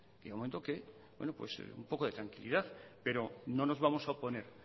de momento que un poco de tranquilidad pero no nos vamos a oponer